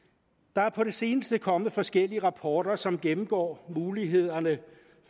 der er på det seneste kommet forskellige rapporter som gennemgår mulighederne